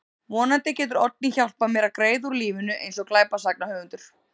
Vonandi getur Oddný hjálpað mér að greiða úr lífinu eins og glæpasagnahöfundur.